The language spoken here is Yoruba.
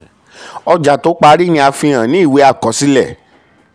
ọjà tó parí ni a fi hàn ní ìwé àkọsílẹ̀.